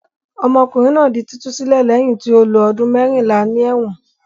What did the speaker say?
Ọmọkùnrin náà di títú sílẹ̀ lẹ́yìn tí ó lo ọdún mẹ́rìnlá ní ẹ̀wọ̀n.